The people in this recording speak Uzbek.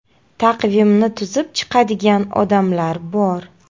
Taqvimni tuzib chiqadigan odamlar bor.